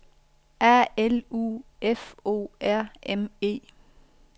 A L U F O R M E